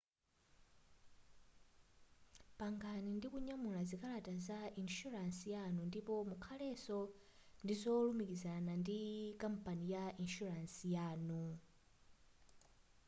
pangani ndikunyamula zikalata za inshuransi yanu ndipo mukhaleso ndizolumikizirana ndi kampani ya inshuransi yanu